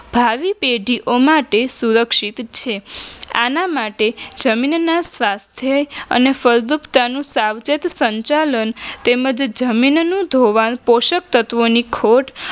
ભાવી પેઢીઓ માટે સુરક્ષિત છે આના માટે જમીનના સ્વાધ્યાય અને ફળદ્રુપતાનું સાવચેત સંચાલન તેમંજ જમીનનું ધોવાણ પોષક તત્વોની ખોટ